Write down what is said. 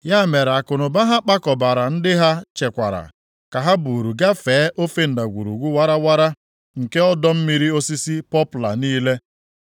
Ya mere akụnụba ha kpakọbara ndị ha chekwara ka ha buuru gafee ofe ndagwurugwu warawara nke ọdọ mmiri osisi pọpla niile.